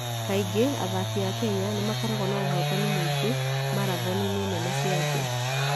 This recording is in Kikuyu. Kaingĩ athaki a Kenya nĩ makoragwo na ũhootani mũingĩ marathoni-inĩ nene cia thĩ.